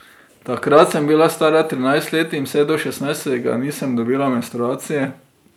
Takrat sem bila stara trinajst let in vse do šestnajstega nisem dobila menstruacije.